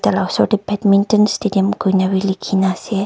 taila osor tey badminton stadium kuina wi likhina ase.